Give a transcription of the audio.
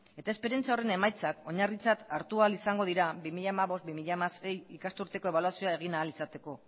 eta esperientzia horren emaitzak oinarritzat hartu ahal izango dira bi mila hamabost bi mila hamasei ikasturteko ebaluazioa egin ahal izateko